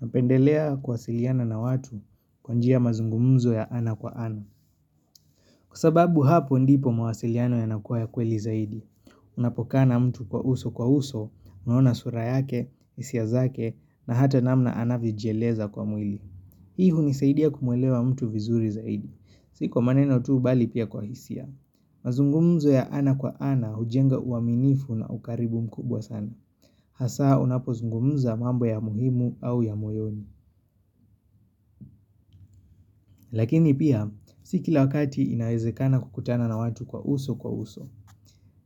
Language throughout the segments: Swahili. Napendelea kuwasiliana na watu kwa njia mazungumzo ya ana kwa ana. Kwa sababu hapo ndipo mawasiliano yanakuwa ya kweli zaidi. Unapokaa na mtu kwa uso kwa uso, unaona sura yake, hisia zake, na hata namna anavyojieleza kwa mwili. Hii hunisaidia kumwelewa mtu vizuri zaidi. Si kwa maneno tu, bali pia kwa hisia. Mazungumzo ya ana kwa ana hujenga uaminifu na ukaribu mkubwa sana. Hasa unapo zungumza mambo ya muhimu au ya moyoni. Lakini pia, si kila wakati inaezekana kukutana na watu kwa uso kwa uso.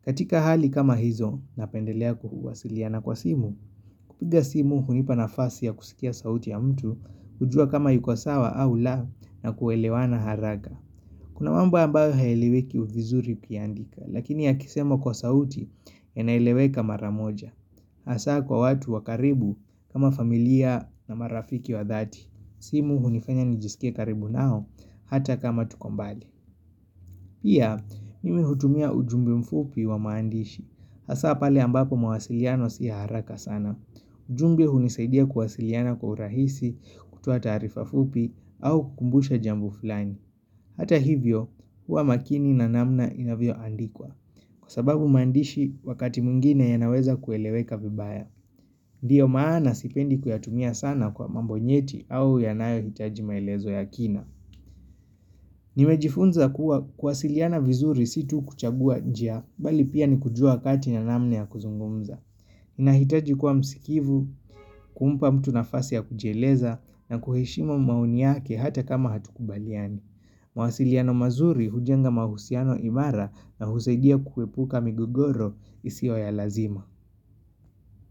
Katika hali kama hizo napendelea kuhuwasiliana kwa simu, kupiga simu hunipa nafasi ya kusikia sauti ya mtu, hujua kama yuko sawa au la, na kuelewana haraka. Kuna mambo ambayo hayaeleweki vizuri ukiandika, lakini yakisemwa kwa sauti inaeleweka maramoja. Hasa kwa watu wa karibu kama familia na marafiki wa dhati. Simu hunifanya nijisikie karibu nao, hata kama tuko mbali. Pia, mimi hutumia ujumbe mfupi wa maandishi. Hasa pale ambapo mawasiliano si ya haraka sana. Ujumbe hunisaidia kuwasiliana kwa urahisi kutoa taarifa fupi au kukumbusha jambo fulani. Hata hivyo, huwa makini na namna inavyoandikwa. Kwa sababu maandishi, wakati mwingine yanaweza kueleweka vibaya. Ndiyo maana sipendi kuyatumia sana kwa mambo nyeti au yanayohitaji maelezo ya kina. Nimejifunza kuwa kuwasiliana vizuri si tu kuchagua njia, bali pia ni kujua wakati na namna ya kuzungumza. Inahitaji kuwa msikivu, kumpa mtu nafasi ya kujieleza, na kuheshimu maoni yake hata kama hatukubaliani. Mawasiliano mazuri hujenga mahusiano imara na husaidia kuepuka migogoro isiyo ya lazima.